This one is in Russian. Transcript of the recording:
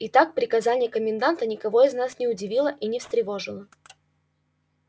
итак приказание коменданта никого из нас не удивило и не встревожило